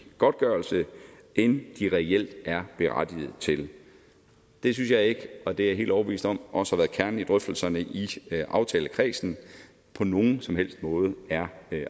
godtgørelse end de reelt er berettiget til det synes jeg ikke og det er jeg helt overbevist om også har været kernen i drøftelserne i aftalekredsen på nogen som helst måde er